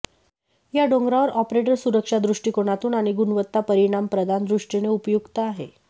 या डोंगरावर ऑपरेटर सुरक्षा दृष्टिकोनातून आणि गुणवत्ता परिणाम प्रदान दृष्टीने उपयुक्त आहे